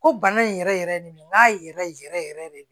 Ko bana in yɛrɛ yɛrɛ ye nin ye n k'a yɛrɛ yɛrɛ yɛrɛ de